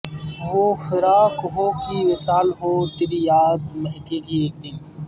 وہ فراق ہو کہ وصال ہو تیری یاد مہکے گی ایکدن